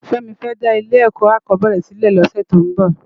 Femi fè dá ile èkò ákòbèéré silè lòsè tó n bò